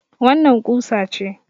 Wannan ƙusa ce.